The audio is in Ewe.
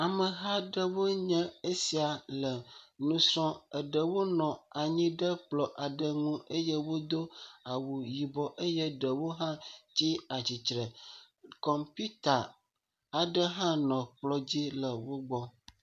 Ameha aɖe woe nye esia le nusrɔm. eɖewo nɔ anyi ɖe kplɔ aɖe ŋu eye wo do awu yibɔ eye ɖewo hã tsi atsitre. Kɔmpita qɖe hã nɔ kplɔ dzi le wogbɔ.